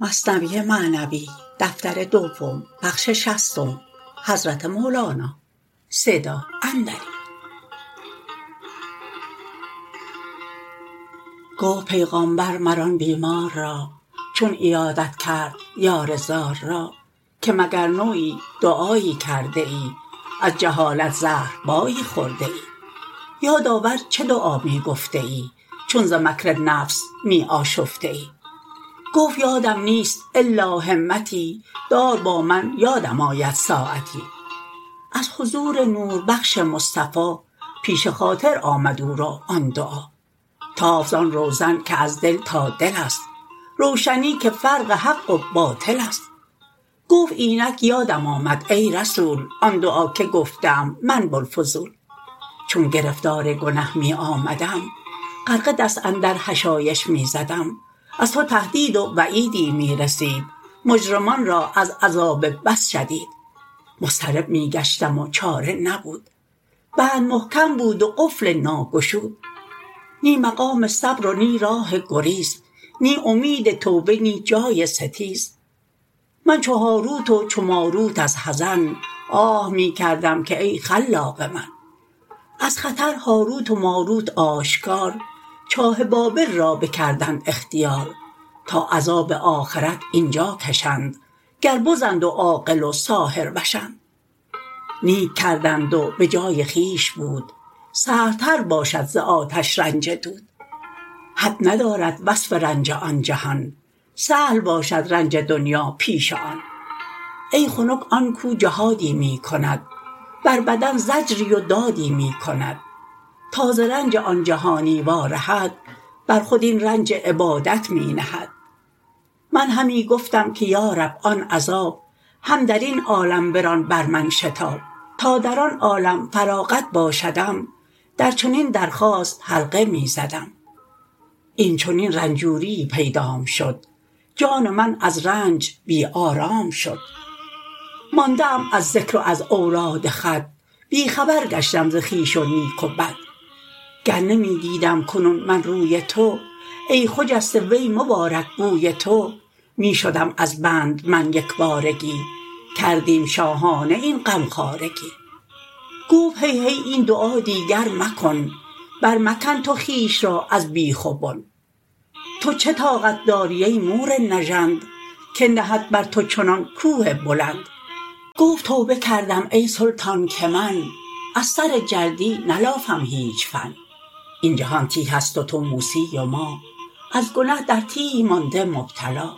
گفت پیغامبر مر آن بیمار را چون عیادت کرد یار زار را که مگر نوعی دعایی کرده ای از جهالت زهربایی خورده ای یاد آور چه دعا می گفته ای چون ز مکر نفس می آشفته ای گفت یادم نیست الا همتی دار با من یادم آید ساعتی از حضور نوربخش مصطفی پیش خاطر آمد او را آن دعا تافت زان روزن که از دل تا دلست روشنی که فرق حق و باطلست گفت اینک یادم آمد ای رسول آن دعا که گفته ام من بوالفضول چون گرفتار گنه می آمدم غرقه دست اندر حشایش می زدم از تو تهدید و وعیدی می رسید مجرمان را از عذاب بس شدید مضطرب می گشتم و چاره نبود بند محکم بود و قفل ناگشود نی مقام صبر و نی راه گریز نی امید توبه نی جای ستیز من چو هاروت و چو ماروت از حزن آه می کردم که ای خلاق من از خطر هاروت و ماروت آشکار چاه بابل را بکردند اختیار تا عذاب آخرت اینجا کشند گربزند و عاقل و ساحروشند نیک کردند و بجای خویش بود سهل تر باشد ز آتش رنج دود حد ندارد وصف رنج آن جهان سهل باشد رنج دنیا پیش آن ای خنک آن کو جهادی می کند بر بدن زجری و دادی می کند تا ز رنج آن جهانی وا رهد بر خود این رنج عبادت می نهد من همی گفتم که یا رب آن عذاب هم درین عالم بران بر من شتاب تا در آن عالم فراغت باشدم در چنین درخواست حلقه می زدم این چنین رنجوریی پیدام شد جان من از رنج بی آرام شد مانده ام از ذکر و از اوراد خود بی خبر گشتم ز خویش و نیک و بد گر نمی دیدم کنون من روی تو ای خجسته وی مبارک بوی تو می شدم از بند من یکبارگی کردیم شاهانه این غمخوارگی گفت هی هی این دعا دیگر مکن بر مکن تو خویش را از بیخ و بن تو چه طاقت داری ای مور نژند که نهد بر تو چنان کوه بلند گفت توبه کردم ای سلطان که من از سر جلدی نلافم هیچ فن این جهان تیه ست و تو موسی و ما از گنه در تیه مانده مبتلا